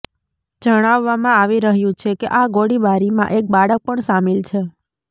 જણાવવામાં આવી રહ્યું છે કે આ ગોળીબારીમાં એક બાળક પણ શામિલ છે